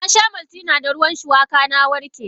Nasha maltina da ruwan shuwaka na warke.